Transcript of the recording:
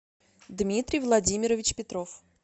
дмитрий владимирович петров